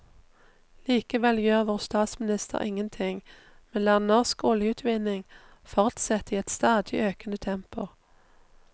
Likevel gjør vår statsminister ingen ting, men lar norsk oljeutvinning fortsette i et stadig økende tempo.